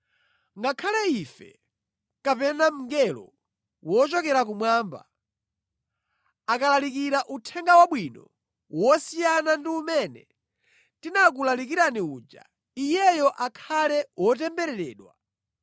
Ngakhale ife kapena mngelo wochokera kumwamba, akalalikira Uthenga Wabwino wosiyana ndi umene tinakulalikirani uja, iyeyo akhale wotembereredwa!